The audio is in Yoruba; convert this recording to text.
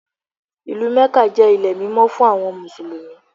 Ìlú Mẹ́kà jẹ́ ilé mímọ́ fún àwọn Mùsùlùmí.